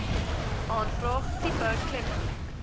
aanvraag tipe kleppe